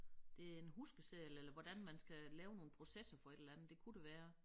Det en huskeseddel eller hvordan man skal lave nogle processer for et eller andet det kunne det være